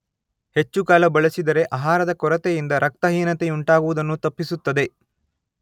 ಹೆಚ್ಚುಕಾಲ ಬಳಸಿದರೆ ಆಹಾರದ ಕೊರತೆಯಿಂದ ರಕ್ತಹೀನತೆಯುಂಟಾಗುವುದನ್ನು ತಪ್ಪಿಸುತ್ತದೆ.